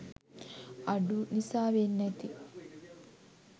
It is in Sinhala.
අඩු නිසා වෙන්න ඇති